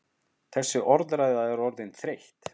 Þessi orðræða er orðin þreytt!